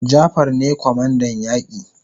Jafar ne kwamandan yaki